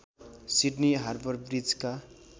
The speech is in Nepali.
Sydney harbour ब्रिजका